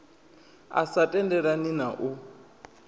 a sa tendelani na u